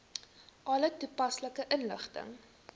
alle toepaslike inligting